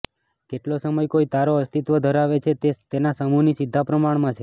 કેટલો સમય કોઈ તારો અસ્તિત્વ ધરાવે છે તે તેના સમૂહની સીધા પ્રમાણમાં છે